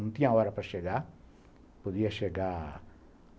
Não tinha hora para chegar. Podia chegar